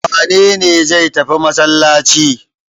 Wane ne zai tafi masallaci?